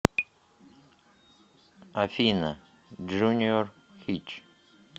афина джуниор хич